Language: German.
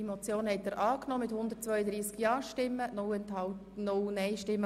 Sie haben die Motion angenommen.